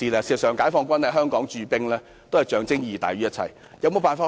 事實上，解放軍在香港駐兵是象徵意義大於一切。